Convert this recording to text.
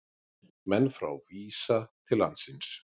Menn frá Visa til landsins